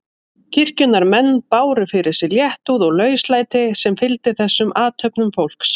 Kirkjunnar menn báru fyrir sig léttúð og lauslæti sem fylgdi þessum athöfnum fólks.